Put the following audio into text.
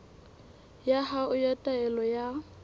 ya hao ya taelo ya